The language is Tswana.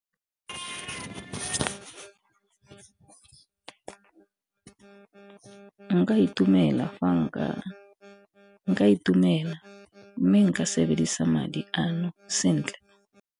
Nka itumela, mme nka sebedisa madi ano sentle.